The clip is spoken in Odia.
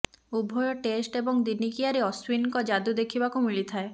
ଉଭୟ ଟେଷ୍ଟ ଏବଂ ଦିନିକିଆରେ ଅଶ୍ୱିନ୍ଙ୍କ ଯାଦୁ ଦେଖିବାକୁ ମିଳିଥାଏ